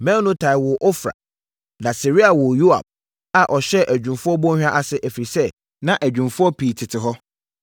Meonotai woo Ofra. Na Seraia woo Yoab a ɔhyɛɛ Adwumfoɔ Bɔnhwa ase, ɛfiri sɛ, na adwumfoɔ pii tete hɔ.